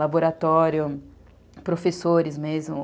Laboratório, professores mesmo.